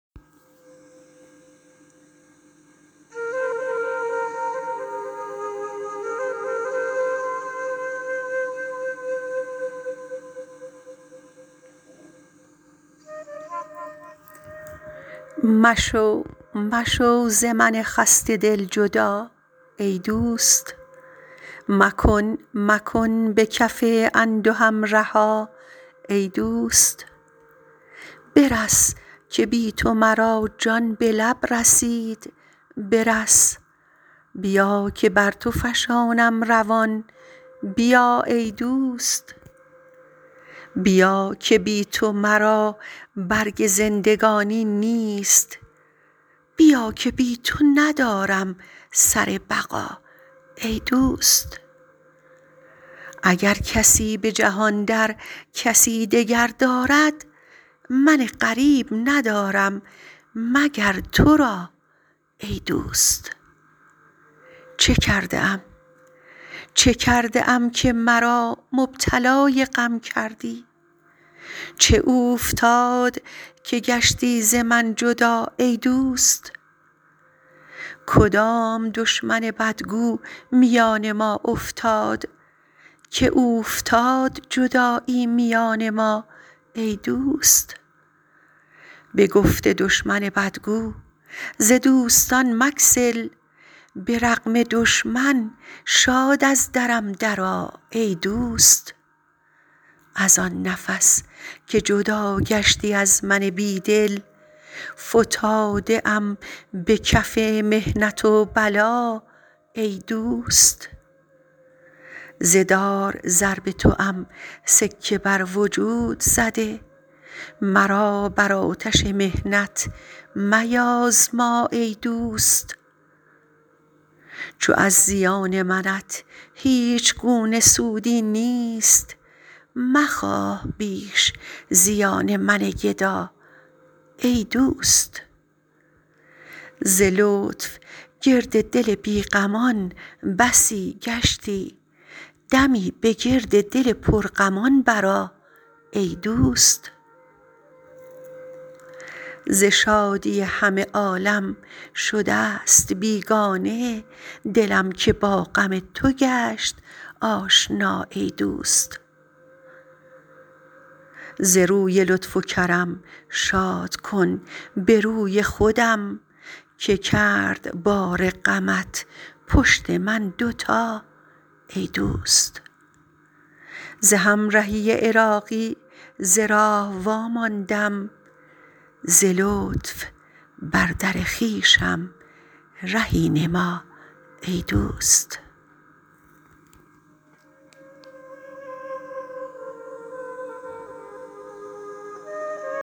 مشو مشو ز من خسته دل جدا ای دوست مکن مکن به کف اندهم رها ای دوست برس که بی تو مرا جان به لب رسید برس بیا که بر تو فشانم روان بیا ای دوست بیا که بی تو مرا برگ زندگانی نیست بیا که بی تو ندارم سر بقا ای دوست اگر کسی به جهان در کسی دگر دارد من غریب ندارم مگر تو را ای دوست چه کرده ام که مرا مبتلای غم کردی چه اوفتاد که گشتی ز من جدا ای دوست کدام دشمن بدگو میان ما افتاد که اوفتاد جدایی میان ما ای دوست بگفت دشمن بدگو ز دوستان مگسل برغم دشمن شاد از درم درآ ای دوست از آن نفس که جدا گشتی از من بی دل فتاده ام به کف محنت و بلا ای دوست ز دار ضرب توام سکه بر وجود زده مرا بر آتش محنت میازما ای دوست چو از زیان منت هیچگونه سودی نیست مخواه بیش زیان من گدا ای دوست ز لطف گرد دل بی غمان بسی گشتی دمی به گرد دل پر غمان برآ ای دوست ز شادی همه عالم شدست بیگانه دلم که با غم تو گشت آشنا ای دوست ز روی لطف و کرم شاد کن بروی خودم که کرد بار غمت پشت من دوتا ای دوست ز همرهی عراقی ز راه واماندم ز لطف بر در خویشم رهی نما ای دوست